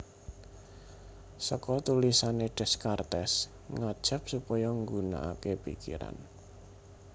Seka tulisane Descartes ngajap supaya nggunaake pikiran